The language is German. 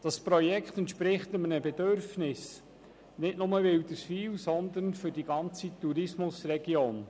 Dieses Projekt entspricht nicht nur einem Bedürfnis von Wilderswil, sondern der ganzen Tourismusregion.